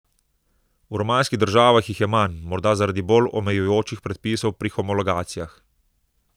V romanskih državah jih je manj, morda zaradi bolj omejujočih predpisov pri homologacijah.